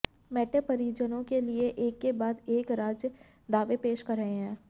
metro परियोजनाओं के लिए एक के बाद एक राज्य दावे पेश कर रहे हैं